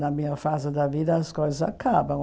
Na minha fase da vida, as coisas acabam.